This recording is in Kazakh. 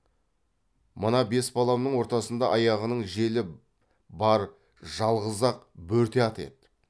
мына бес баламның ортасында аяғының желі бар жалғыз ақ бөрте ат еді